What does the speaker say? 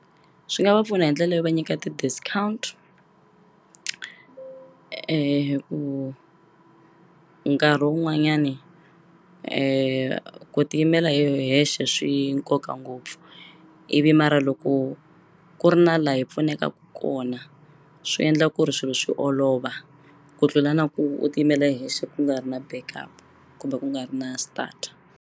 Swi nga va pfuna hi ndlela yo va nyika ti-discount ku nkarhi wun'wanyani ku tiyimela hi hexe swi nkoka ngopfu ivi mara loko ku ri na la hi pfunekaku kona swi endla ku ri swilo swi olova ku tlula na ku u ti yimela hexe ku nga ri na backup kumbe ku nga ri na start.